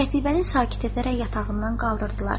Qətibəni sakit edərək yatağından qaldırdılar.